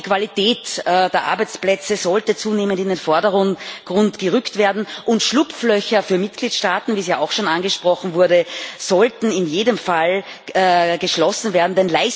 Auch die Qualität der Arbeitsplätze sollte zunehmend in den Vordergrund gerückt werden, und Schlupflöcher für Mitgliedstaaten, wie auch schon angesprochen wurde, sollten in jedem Fall wieder geschlossen werden.